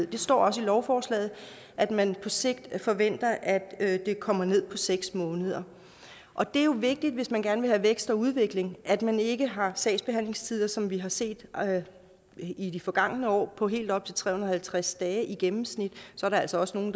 det står også i lovforslaget at man på sigt forventer at at den kommer ned på seks måneder og det er jo vigtigt hvis man gerne vil have vækst og udvikling at man ikke har sagsbehandlingstider som dem vi har set i de forgangne år på helt op til tre hundrede og halvtreds dage i gennemsnit der er altså også nogle